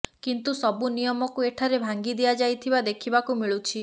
କିନ୍ତୁ ସବୁ ନିୟମକୁ ଏଠାରେ ଭାଙ୍ଗି ଦିଆଯାଇଥିବା ଦେଖିବାକୁ ମିଳୁଛି